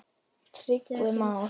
Tryggvi Már.